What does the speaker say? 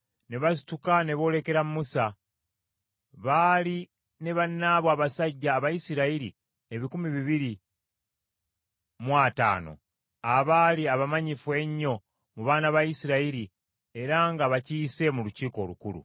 ne basituka ne boolekera Musa. Baali ne bannaabwe abasajja Abayisirayiri ebikumi bibiri mu ataano, abaali abamanyifu ennyo mu baana ba Isirayiri era nga bakiise mu Lukiiko Olukulu.